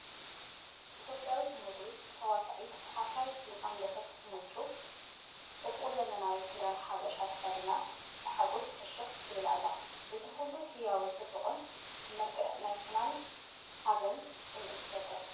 ኢትዮጵያዊት ሞዴል፡ ተዋሳኢት፡ ኣፍራዪት ፊልም ኣምለሰት ሙጩ፡ ጽቡቕ ዘመናዊ ክዳን ሓበሻ ተኸዲና ብሓጎስ ፍሽኽ ትብል ኣላ። እዚ ኩሉ ህያውን ጽቡቕን መልክዕ ናይ ፍናንን ሓበንን ስምዒት ይፈጥር!